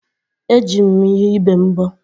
Eji m ihe ibe mbọ.